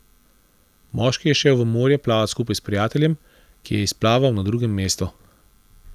Moški je šel v morje plavat skupaj s prijateljem, ki je izplaval na drugem mestu.